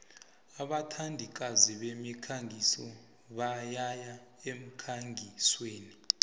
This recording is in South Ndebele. abathandikazi bemikhangiso bayaya emkhangisweni